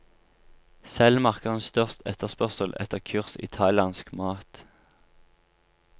Selv merker hun størst etterspørsel etter kurs i thailandsk mat.